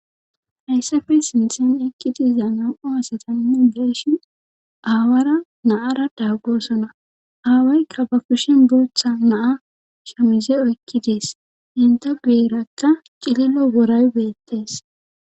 Hayssafe sinthen ekkidiza nam'o asatanu geeshi aawara naara daaggosona aawaykka ba kushin booththa naa shomize oykkidees inte guyerakka cililo woray beettees.